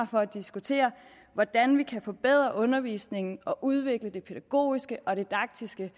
for at diskutere hvordan vi kan forbedre undervisningen og udvikle det pædagogiske og didaktiske